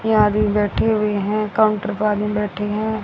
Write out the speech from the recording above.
ये आदमी बैठे हुए हैं काउंटर पे आदमी बैठे हैं।